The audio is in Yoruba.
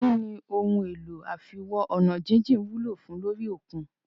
Kínní ohun èlò àfiwo-ọ̀nàjíjìn wúlò fùn ún lórí òkun?